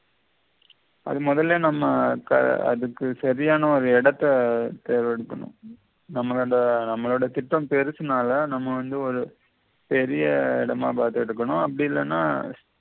அது முதல்லே நம்ம அதுக்கு சரியான ஒரு இடத்த தேடி எடுக்கணும் நம்மளோட நம்மளோட திட்டம் பெரிசுனால நம்ம வந்து ஒரு பெரிய இடமா பார்த்து எடுக்கனும் அப்படி இல்லேனா